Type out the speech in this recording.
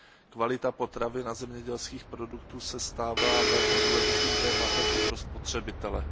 Kvalita potravin a zemědělských produktů se stává velmi důležitým tématem i pro spotřebitele.